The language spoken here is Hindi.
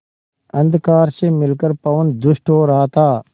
अंधकार से मिलकर पवन दुष्ट हो रहा था